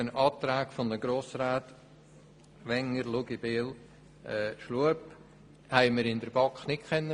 Die Anträge der Grossräte Wenger, Luginbühl und Schlup konnten wir in der BaK nicht beraten.